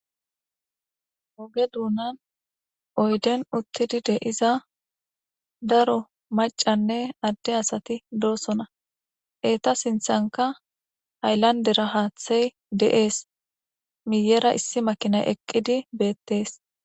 Ogeduunan oyden uttidi de7iza daro maccanne adde asati doosona entta sinthankka haylanddera haathey de7ees. miyyera issi makinay eqqidi beettees.